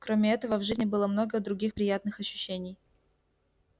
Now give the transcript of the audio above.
кроме этого в жизни было много других приятных ощущений